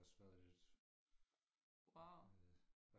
har også været lidt øh